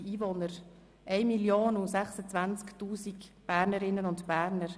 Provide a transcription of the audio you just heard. Es sind dies 1,026 Mio. Bernerinnen und Berner.